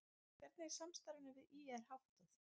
Hvernig er samstarfinu við ÍR háttað?